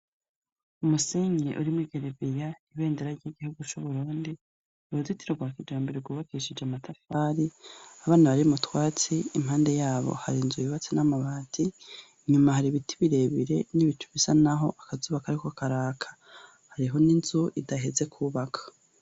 Umusenyi urimwo igereveya, ibendera ry'igihugu cu Burundi, uruzitiro rwa kijambere rwubakishije amatafari, abana bari m'utwatsi impande yabo hari inzu yabatse n'amabati, inyuma hari ibiti birebire n'ibicu bisa naho akazuba kariko karaka, hariho n'inzu idaheze kubaka.